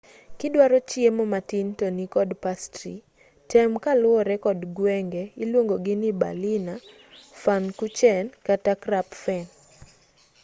kidwaro chiemo matin tonikod pastri tem kaluwore kod gwenge iluongogi ni berliner pfannkuchen kata krapfen